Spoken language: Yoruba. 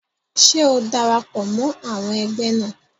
Ṣé o darapọ̀ mọ́ àwọn ẹgbẹ́ náà?